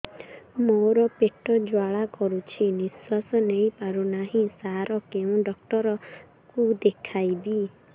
ମୋର ପେଟ ଜ୍ୱାଳା କରୁଛି ନିଶ୍ୱାସ ନେଇ ପାରୁନାହିଁ ସାର କେଉଁ ଡକ୍ଟର କୁ ଦେଖାଇବି